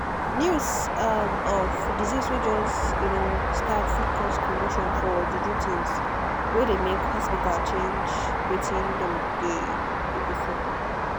news um of disease way just um start fit cause commotion for juju things way they make hospita change wetin dem dey do before.